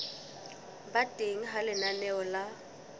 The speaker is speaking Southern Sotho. ba teng ha lenaneo la